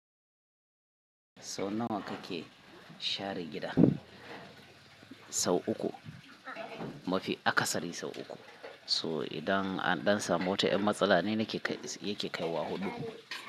Sau nawa kake share gida? Sau uku, mafi akasari sau uku. So idan an ɗan samu wata yan matsala ne na ke yake kai wa huɗu.